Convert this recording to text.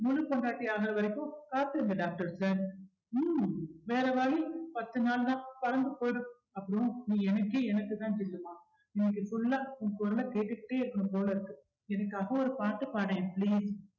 முழு பொண்டாட்டியாகுற வரைக்கும் காத்திருங்க doctor sir ஹம் வேற வழி பத்து நாள் தான் பறந்து போயிடும் அப்புறம் நீ எனக்கே எனக்குத்தான் தெரியுமா இன்னைக்கு full ஆ உன் குரலை கேட்டுக்கிட்டே இருக்கணும் போல இருக்கு எனக்காக ஒரு பாட்டு பாடேன் please